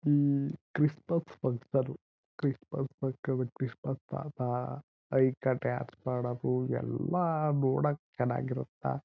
ಮ್ಮ್ Christmas function Christmas function Christmas ಪಾಪ ಐಕಾ dance